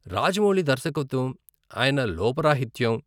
రాజమౌళి దర్శకత్వం, ఆయన లోపరాహిత్యం.